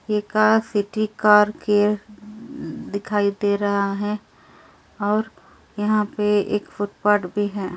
यह car city car care दिखाई दे रहा है और यहां पे एक फुटपाथ भी है।